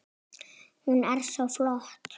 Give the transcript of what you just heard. Hún er svo flott!